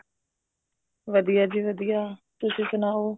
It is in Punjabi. ਵਧੀਆ ਜੀ ਵਧੀਆ ਤੁਸੀਂ ਸੁਣਾਉ